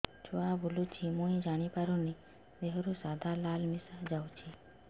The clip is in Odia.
ଛୁଆ ବୁଲୁଚି ମୁଇ ଜାଣିପାରୁନି ଦେହରୁ ସାଧା ଲାଳ ମିଶା ଯାଉଚି